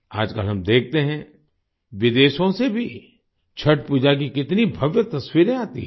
आजकल हम देखते हैं विदेशों से भी छठ पूजा की कितनी भव्य तस्वीरें आती हैं